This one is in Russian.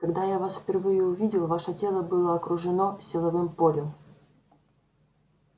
когда я вас впервые увидел ваше тело было окружено силовым полем